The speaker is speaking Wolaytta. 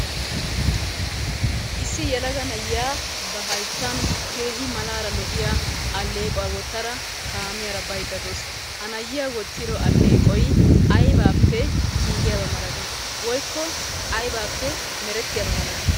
Issi yelaga na'iya ba hayttan keehi malaara lo'iya alleeqquwa wottara kaamiyaara baydda de'awusu. Ha na'iya wottiddo alleeqqoy aybappe giggiyaba malati woykko aybaappe merettiyaba malati?